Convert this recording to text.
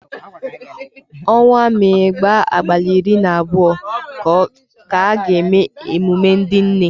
Onwa Mee gbaa abalị iri na abụọ ka a ga-eme emume ndị nne.